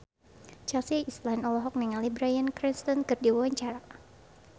Chelsea Islan olohok ningali Bryan Cranston keur diwawancara